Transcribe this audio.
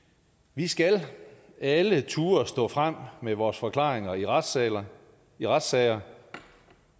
vi skal alle turde stå frem med vores forklaringer i retssager i retssager